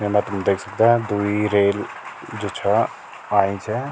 येमा तुम देख सकदा द्वि रेल जू छ आईं छ।